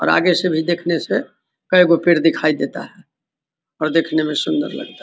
और आगे से भी देखने से कएगो पेड़ दिखाई देता है। और देखने में सुन्दर लगता है।